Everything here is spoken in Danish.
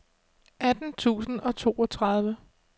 atten tusind og toogtredive